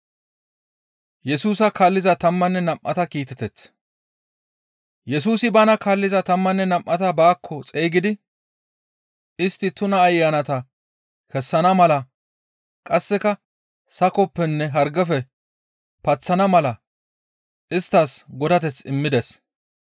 Yesusi bana kaalliza tammanne nam7ata baakko xeygidi, istti tuna ayanata kessana mala qasseka sakoppenne hargefe paththana mala isttas godateth immides.